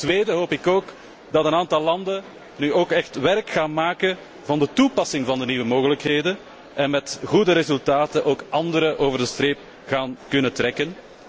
Ten tweede hoop ik dat een aantal landen nu echt werk maken van de toepassing van de nieuwe mogelijkheden en met goede resultaten ook andere landen over de streep kunnen trekken.